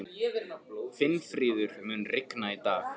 Finnfríður, mun rigna í dag?